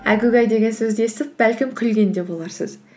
әгугай деген сөзді естіп бәлкім күлген де боларсыз